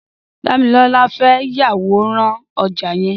Damilola fè yàwóràn ọ̀já yèn